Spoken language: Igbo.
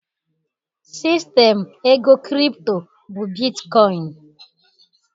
Sistem ego kripto bụ bitkọin